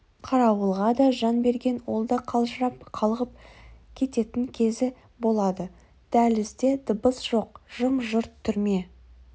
қарауылға да жан берген ол да қалжырап қалғып кететін кезі болады дәлізде дыбыс жоқ жым-жырт түрме